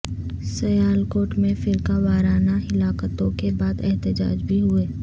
سیالکوٹ میں فرقہ وارانہ ہلاکتوں کے بعد احتجاج بھی ہوئے